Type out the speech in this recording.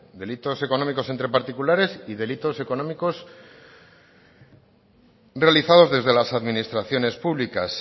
delitos económicos entre particulares y delitos económicos realizados desde las administraciones públicas